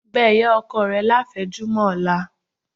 Bẹ́ ìyá ọkọ rẹ láfẹ̀mọ́júmọ́ ọ̀la